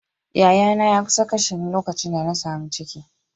Yayana ya kusa kashe ni lokacin da na samu ciki.